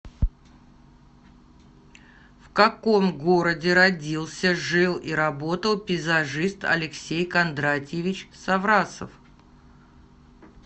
в каком городе родился жил и работал пейзажист алексей кондратьевич саврасов